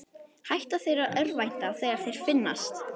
Hætta þeir að örvænta þegar þeir finnast?